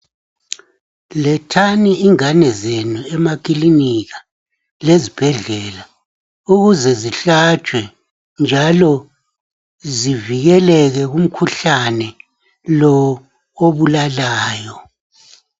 Lethani ingane zenu emakilinika lezibhedlela ukuze zihlatshwe njalo zivikeleke kumkhuhlane lo obulalayo.